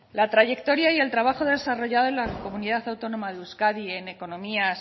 la trayectoria y el trabajo desarrollado en la comunidad autónoma de euskadi en economía